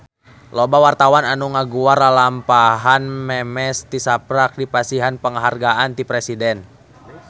Loba wartawan anu ngaguar lalampahan Memes tisaprak dipasihan panghargaan ti Presiden